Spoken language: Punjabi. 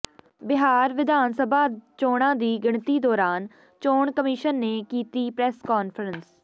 ਬਿਹਾਰ ਵਿਧਾਨ ਸਭਾ ਚੋਣਾਂ ਦੀ ਗਿਣਤੀ ਦੌਰਾਨ ਚੋਣ ਕਮਿਸ਼ਨ ਨੇ ਕੀਤੀ ਪ੍ਰੈੱਸ ਕਾਨਫਰੰਸ